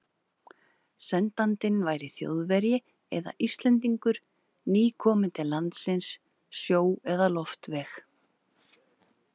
Sendandinn væri Þjóðverji eða Íslendingur, nýkominn til landsins sjó- eða loftveg.